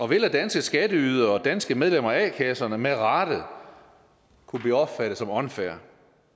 vil af danske skatteydere og danske medlemmer af a kasserne med rette kunne blive opfattet som unfair